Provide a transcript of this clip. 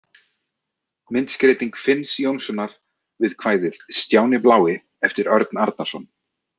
Myndskreyting Finns Jónssonar við kvæðið „Stjáni blái“ eftir Örn Arnarson.